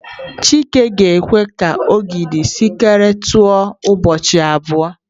Chike ga-ekwe ka ogidi sinkịrị tọọ ụbọchị abụọ.